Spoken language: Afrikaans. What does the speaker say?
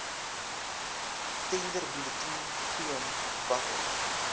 tenderbulletin toon watter